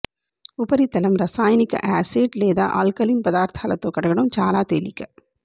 ఉపరితలం రసాయనిక యాసిడ్ లేదా ఆల్కలీన్ పదార్ధాలతో కడగడం చాలా తేలిక